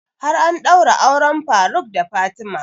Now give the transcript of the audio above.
Har an ɗaura auren faruk da fatima